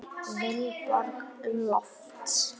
Vilborg Lofts.